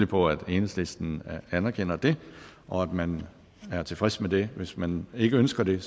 på at enhedslisten anerkender det og at man er tilfreds med det hvis man ikke ønsker det